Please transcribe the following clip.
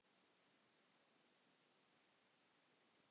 Koma þessu sem fyrst frá.